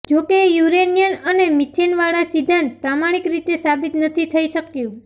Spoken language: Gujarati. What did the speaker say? જોકે યુરેનિયમ અને મીથેન વાળા સિદ્ધાંત પ્રામાણિક રીતે સાબિત નથી થઈ શક્યું